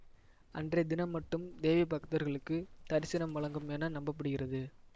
அன்றைய தினம் மட்டும் தேவி பக்தர்களுக்கு தரிசனம் வழங்கும் என நம்ப படுகிறது